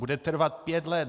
Bude trvat pět let!